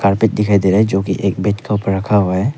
दिखाई दे रहा है जो की एक बिटकॉइनपर के ऊपर रखा हुआ है।